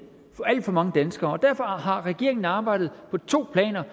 for alt for mange danskere og derfor har regeringen arbejdet på to planer